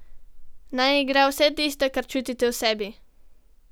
Naj igra vse tisto, kar čutite v sebi.